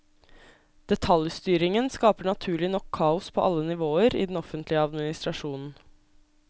Detaljstyringen skaper naturlig nok kaos på alle nivåer i den offentlige administrasjonen.